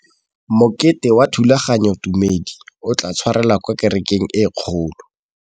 Mokete wa thulaganyôtumêdi o tla tshwarelwa kwa kerekeng e kgolo.